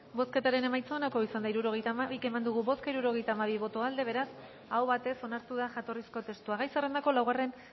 bozketaren emaitza onako izan da hirurogeita hamabi eman dugu bozka hirurogeita hamabi boto aldekoa beraz aho batez onartu da jatorrizko testua gai zerrendako laugarren